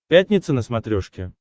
пятница на смотрешке